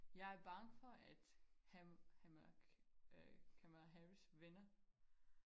jeg bange for at han han Kamela Harris vinder